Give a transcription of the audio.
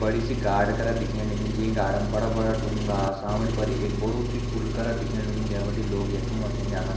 बड़ी सी गार्ड करत दिखेण लगीं जै गार्ड पर बड़ा-बड़ा डूंगा सामने पर एक बडू सी पुल करत दिखेण लग्युं जै बटि लोग यथें वथें जांदा।